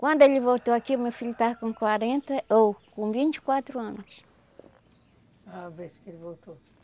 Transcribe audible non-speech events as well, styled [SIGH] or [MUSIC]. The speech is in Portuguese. Quando ele voltou aqui, meu filho estava com quarenta, ou... com vinte e quatro anos. [UNINTELLIGIBLE]